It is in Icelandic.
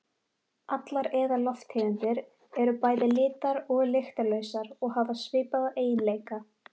Allar eðallofttegundir eru bæði litar- og lyktarlausar og hafa svipaða eiginleika.